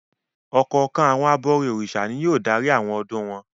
Ọ̀kọ̀ọ̀kan àwọn abọrẹ̀ Orìṣà ni yóò darí àwọn ọdún wọn.